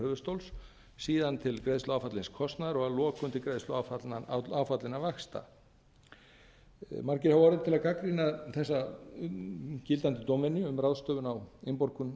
höfuðstóls síðan til greiðslu áfallins kostnaðar og að lokum til greiðslu áfallinna vaxta margir hafa orðið til að gagnrýna þessa gildandi dómvenju um ráðstöfun á innborgun